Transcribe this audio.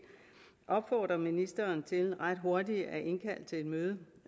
opfordre ministeren til ret hurtigt at indkalde til et møde